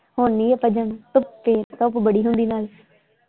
ਹੁਣ ਨਹੀਂ ਆਪਾਂ ਜਾਣਾ ਧੁੱਪੇ ਧੁੱਪ ਬੜੀ ਹੁੰਦੀ ਨਾਲੇ।